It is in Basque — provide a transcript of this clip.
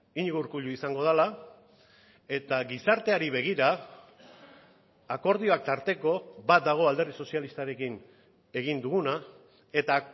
iñigo urkullu izango dela eta gizarteari begira akordioak tarteko bat dago alderdi sozialistarekin egin duguna eta